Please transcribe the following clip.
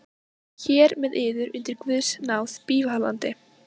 Hér með yður undir guðs náð bífalandi.